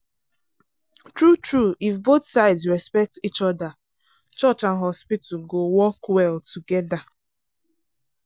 true-true if both sides respect each other church and hospital go work well together